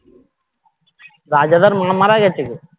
রাজাদার মা মারা গেছে গো